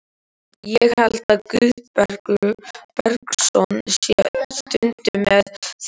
Ég held að Guðbergur Bergsson sé stundum með þeim.